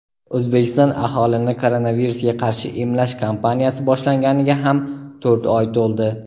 O‘zbekiston aholini koronavirusga qarshi emlash kampaniyasi boshlanganiga ham to‘rt oy to‘ldi.